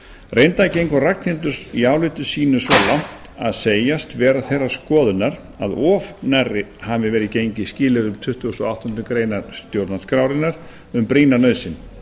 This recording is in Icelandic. reyndar gengur ragnhildur í áliti sínu svo langt að segjast vera þeirrar skoðunar að of nærri hafi verið gengið skilyrðum tuttugasta og áttundu grein stjórnarskrárinnar um brýna nauðsyn